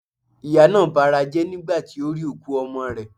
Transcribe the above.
Ìyá naa barajé̩ nigba ti o ri òkú ọmọ rè